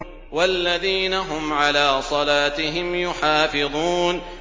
وَالَّذِينَ هُمْ عَلَىٰ صَلَاتِهِمْ يُحَافِظُونَ